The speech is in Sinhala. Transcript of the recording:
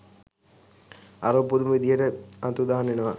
අරුම පුදුම විදිහට අතුරුදහන් වෙනවා.